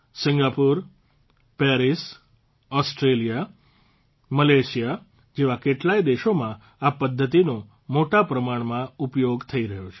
Singapore Paris Australia Malaysia જેવા કેટલાય દેશોમાં આ પદ્ધતિનો મોટા પ્રમાણમાં ઉપયોગ થઇ રહ્યો છે